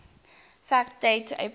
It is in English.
fact date april